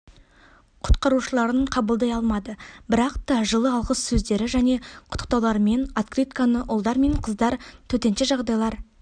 құтқарушыларын қабылдай алмады бірақта жылы алғыс сөздері және құттықтауларымен открытканы ұлдар мен қыздар төтенше жағдайлар